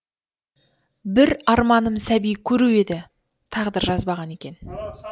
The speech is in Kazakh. бір арманым сәби көру еді тағдыр жазбаған екен